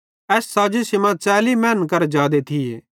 एस साज़िशी मां 40 मैनन करां जादे थिये